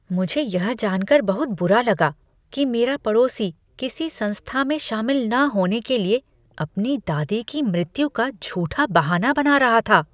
मुझे यह जान कर बहुत बुरा लगा कि मेरा पड़ोसी किसी संस्था में शामिल न होने के लिए अपनी दादी की मृत्यु का झूठा बहाना बना रहा था।